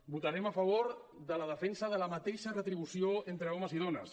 votarem a favor de la defensa de la mateixa retribució entre homes i dones